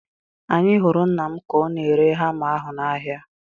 Anyị hụrụ nna m ka ọ na-ere hama ahu n'ahịa